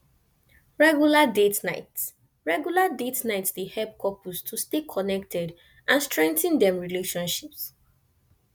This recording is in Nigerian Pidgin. regular date nights regular date nights dey help couples to stay connected and strengthen dem relationships